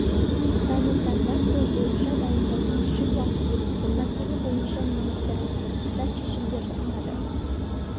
пәнін таңдап сол бойынша дайындалуы үшін уақыт керек бұл мәселе бойынша министрлік бірқатар шешімдер ұсынады